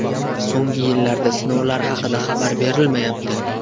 So‘nggi yillarda sinovlar haqida xabar berilmayapti.